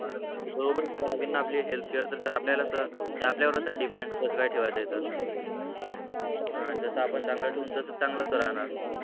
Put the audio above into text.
बरोबरच ठेवावा लागेल ना आपली healthcare तर आपल्यालाच ते आपल्यावरच आहे depend कसं काय ठेवायचं आहे तर जसं आपण चांगलंच ठेउ तसं चांगलंच राहणार